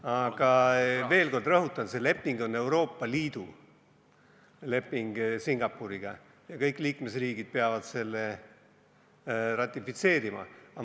Aga veel kord rõhutan: see leping on Euroopa Liidu leping Singapuriga ja kõik liikmesriigid peavad selle ratifitseerima.